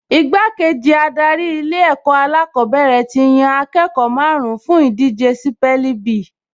Igbákejì adarí Ilé-ẹ̀kọ́ alákọ̀ọ́bẹ̀rẹ̀ ti yan akẹ́kọ̀ọ́ márùn-ún fún ìdíje sípẹ́ẹ̀lì bí